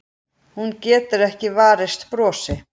Hún getur ekki varist brosi.